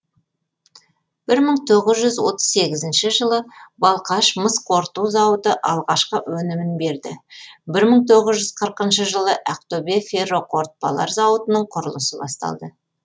бір мың тоғыз жүз отыз сегізінші жылы балқаш мыс қорыту зауыты алғашқы өнімін берді бір мың тоғыз жүз қырықыншы жылы ақтөбе ферроқорытпалар зауытының құрылысы басталды